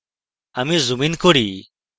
আমি zoom in করি